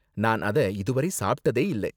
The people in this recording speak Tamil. நான் அத இதுவரை சாப்பிட்டதே இல்ல.